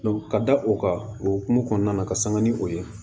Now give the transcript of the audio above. ka da o kan okumu kɔnɔna na ka sanga ni o ye